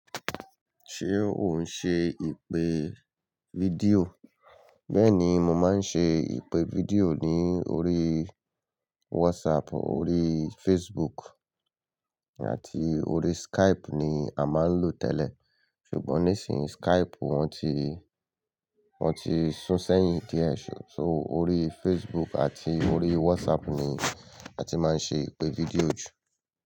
Ṣé o ń ṣe ìpè fídíò? Bẹ́ẹ̀ni, mo máa ń ṣe ìpè fídíò ní orí WhatsApp, orí Facebook àti orí Skype ni a máa ń lò tẹ́lẹ̀. Ṣùgbọ́n nísìn yí, Skype wọ́n ti, wọ́n ti sún sẹ́yìn díẹ̀. So orí Facebook àti orí WhatsApp ni a ti máa ń ṣe ìpè fídíò jù.